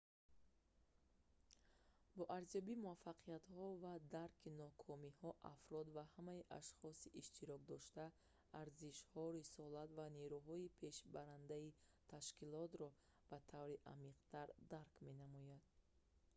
бо арзёбии муваффақиятҳо ва дарки нокомиҳо афрод ва ҳамаи ашхоси иштирокдошта арзишҳо рисолат ва нерӯҳои пешбарандаи ташкилотро ба таври амиқтар дарк менамоянд